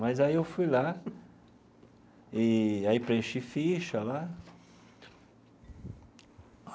Mas aí eu fui lá e aí preenchi ficha lá.